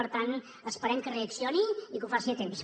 per tant esperem que reaccioni i que ho faci a temps